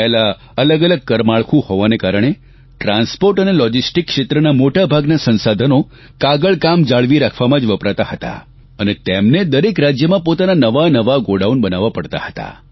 પહેલાં અલગ અલગ કરમાળખું હોવાના કારણે ટ્રાન્સપોર્ટ અને લોજીસ્ટીક ક્ષેત્રના મોટાભાગના સંસાધનો કાગળ કામ જાળવી રાખવામાં જ વપરાતા હતાં અને તેમને દરેક રાજ્યમાં પોતાના નવાંનવાં ગોડાઉન બનાવવા પડતાં હતાં